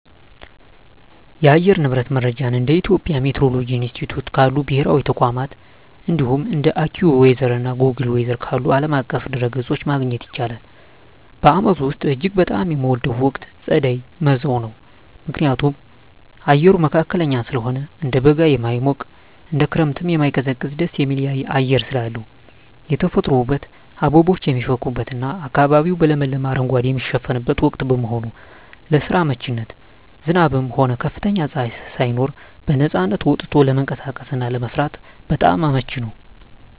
የአየር ንብረት መረጃን እንደ የኢትዮጵያ ሚቲዎሮሎጂ ኢንስቲትዩት ካሉ ብሔራዊ ተቋማት፣ እንዲሁም እንደ AccuWeather እና Google Weather ካሉ ዓለም አቀፍ ድረ-ገጾች ማግኘት ይቻላል። በዓመቱ ውስጥ እጅግ በጣም የምወደው ወቅት ጸደይ (መጸው) ነው። ምክንያቱም፦ አየሩ መካከለኛ ስለሆነ፦ እንደ በጋ የማይሞቅ፣ እንደ ክረምትም የማይቀዘቅዝ ደስ የሚል አየር ስላለው። የተፈጥሮ ውበት፦ አበቦች የሚፈኩበትና አካባቢው በለመለመ አረንጓዴ የሚሸፈንበት ወቅት በመሆኑ። ለስራ አመቺነት፦ ዝናብም ሆነ ከፍተኛ ፀሐይ ሳይኖር በነፃነት ወጥቶ ለመንቀሳቀስና ለመስራት በጣም አመቺ ነው።